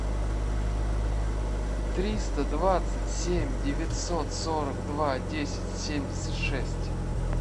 триста двадцать семь девятьсот сорок два десять семьдесят шесть